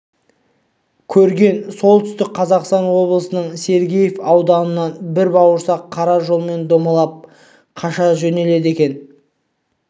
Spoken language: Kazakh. көреген солтүстік қазақстан облысының сергеев ауданынан бір бауырсақ қара жолмен домалап қаша жөнеледі екен